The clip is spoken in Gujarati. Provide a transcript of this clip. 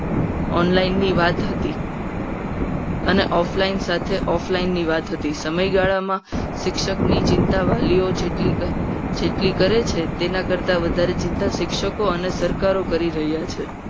Online ની વાત હતી. અને offline સાથે offline ની વાત હતી. સમયગાળામાં શિક્ષણની ચિંતા વાલીઓ જેટલી જેટલી કરે છે. તેના કરતાં વધારે શિક્ષકો અને સરકારો કરી રહ્યા છે.